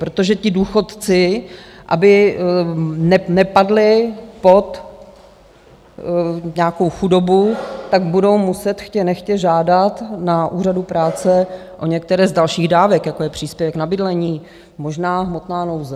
Protože ti důchodci, aby nepadli pod nějakou chudobu, tak budou muset chtě nechtě žádat na úřadu práce o některé z dalších dávek, jako je příspěvek na bydlení, možná hmotná nouze.